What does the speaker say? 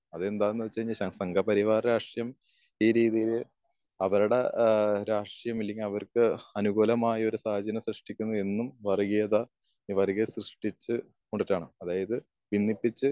അതെന്താന്ന് വെച്ച് കഴുഞ്ഞ ശംഗ പരിവാര രാഷ്ട്രം ഈ രീതിയില് അവരുടെ ആഹ് രാഷ്ട്യം അല്ലെങ്കി അവർക്ക് അനുകൂലമായൊരു സാഹചര്യം സൃഷ്ടിക്കുന്നതിൽ എന്നും വർഗീയത വർഗീയത സൃഷ്ടിച്ച്കൊണ്ടതാണ്. അതായത് ഭിന്നിപ്പിച്ച്